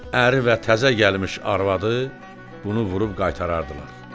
Əri və təzə gəlmiş arvadı bunu vurub qaytarardılar.